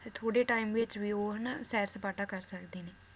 ਤੇ ਥੋੜੇ ਵਿਚ ਵੀ ਉਹ ਹਨਾ ਸੈਰ ਸਪਾਟਾ ਕਰ ਸਕਦੇ ਨੇ।